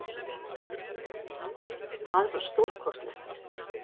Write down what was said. Það var stórkostlegt.